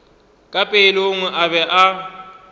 ka pelong a be a